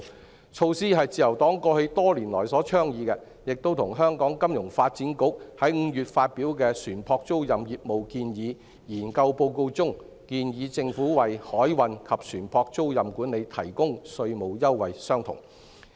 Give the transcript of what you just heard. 這項措施是自由黨過去多年所倡議的，亦與香港金融發展局在5月發表的《船舶租賃業務建議》研究報告中，建議政府為海運及船舶租賃管理提供稅務優惠相同。